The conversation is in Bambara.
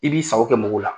I b'i sago kɛ mɔgɔw la